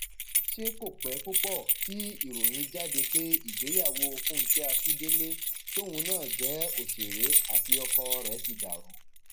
ṣé kò pẹ púpọ tí ìròyìn jáde pé ìgbéyàwó fúnkẹ akíndélé tóun náà jẹ òṣèré àti ọkọ rẹ ti dàrú